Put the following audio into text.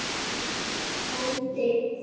Láttu það eftir honum, frændi.